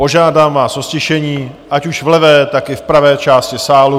Požádám vás o ztišení, ať už v levé, tak i v pravé části sálu.